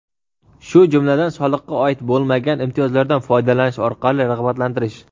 shu jumladan soliqqa oid bo‘lmagan imtiyozlardan foydalanish orqali rag‘batlantirish;.